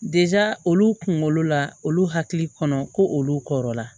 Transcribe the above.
olu kunkolo la olu hakili kɔnɔ ko olu kɔrɔ la